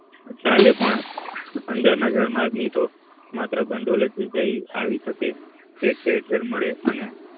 ચાલે પણ અંદર ના જળ માર્ગે થી તો માત્ર ભંડોળ જ આવી ઠેર ઠેર મળે અને